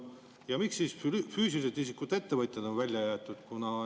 Ja miks siis füüsilisest isikust ettevõtjad on välja jäetud?